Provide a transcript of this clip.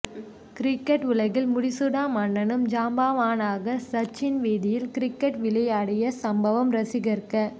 cricket உலகின் முடிசூடா மன்னனும் ஜாம்பவானான சச்சின் வீதியில் கிரிக்கெட் விளையாடிய சம்பவம் ரசிகர்க